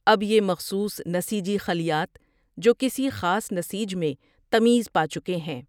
اب یہ مخصوص نسیجی خلیات جو کسی خاص نسیج میں تمیز پاچکے ہیں۔